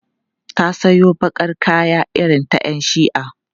Ta sawo baƙar kaya irin ta 'yan shi'a.